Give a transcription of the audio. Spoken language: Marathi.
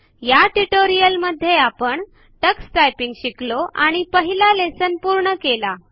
या ट्युटोरियल मध्ये आपण टक्स टायपिंगशिकलो आणि पहिला लेसन पुर्ण केला